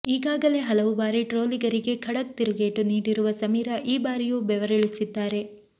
ಈಗಾಗಲೇ ಹಲವು ಬಾರಿ ಟ್ರೋಲಿಗರಿಗೆ ಖಡಕ್ ತಿರುಗೇಟು ನೀಡಿರುವ ಸಮೀರಾ ಈ ಬಾರಿಯೂ ಬೆವರಿಳಿಸಿದ್ದಾರೆ